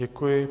Děkuji.